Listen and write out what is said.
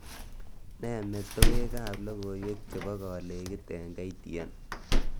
Nee metewekab logoiwek chebo kolekit eng K.T.N